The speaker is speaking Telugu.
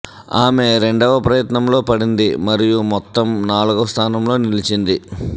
ఆమె రెండవ ప్రయత్నంలో పడింది మరియు మొత్తం నాల్గవ స్థానంలో నిలిచింది